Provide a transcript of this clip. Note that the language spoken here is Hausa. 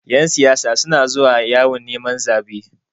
Ƴan siyasa suna zuwa yawon neman zaɓe.